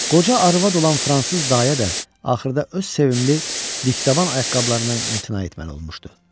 Qoca arvad olan fransız dayə də axırda öz sevimli dikdaban ayaqqabılarından imtina etməli olmuşdu.